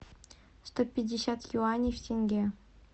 сто пятьдесят юаней в тенге